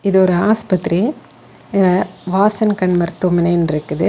இது ஒரு ஆஸ்பத்திரி வாசன் கண் மருத்துவமனைன்னு இருக்குது.